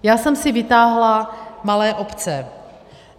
Já jsem si vytáhla malé obce.